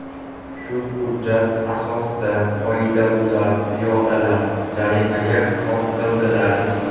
Shu hujjat asosida qoidabuzar piyodalar jarimaga tortildilar.